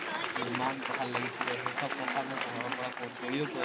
ইমান ভাল লাগিছিলে, সেই চব কথা মোক ঘৰৰপৰাও ফোন কৰি কৈ